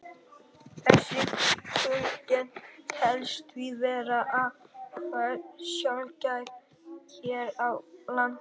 Þessi tegund telst því vera afar sjaldgæf hér á landi.